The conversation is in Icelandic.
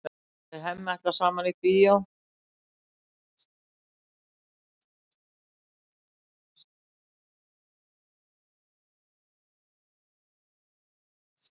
Þau Hemmi ætla saman í bíó.